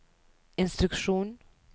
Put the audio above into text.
instruksjon